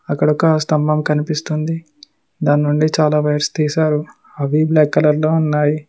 అక్కడ ఒక స్తంభం కనిపిస్తుంది దాని నుండి చాలా వైర్స్ తీసారు అవి బ్లాక్ కలర్ లో ఉన్నాయి.